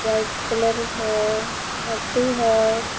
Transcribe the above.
White colour हो धरती हो।